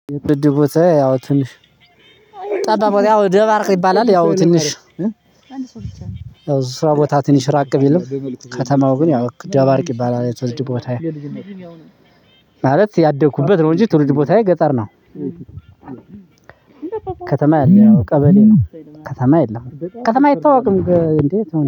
የትውልድ ቦታዬ ያው ትንሽ ጠባብ ያው ደባርቅ ይባላል ያው ትንሽ አንድ ሰው ይቻላል ያው ስራ ቦታ ትንሽ ራቅ ቢልም ከተማው ግን ያው ደባርቅ ይባላል የትወልድ ቦታዬ ማለት ያደኩበት ነው። እንጂ ትውልድ ቦታዬ ገጠር ነው። ከተማ የለውም ቀበሌ ነው ከተማ የለም ከተማ አይታወቅም እንዴ።